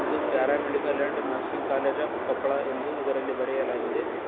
ಇದು paramedical and nursing college of Koppal ಎಂದು ಇದರಲ್ಲಿ ಬರೆಯಲಾಗಿದೆ.